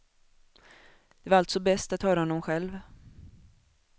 Det var alltså bäst att höra honom själv.